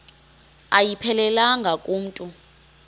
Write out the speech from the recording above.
ayiphelelanga ku mntu